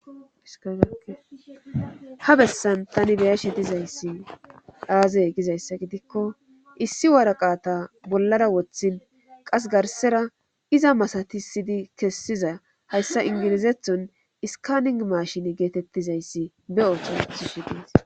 Ha bessan tani beyashe dizayssi dhaaze gizayssa gidikko issi waraqata bollara woththin qas garsera iza masatisidi kessiza hayssa inginizethon iskaning maashin geetettizayssi be7obethishedes.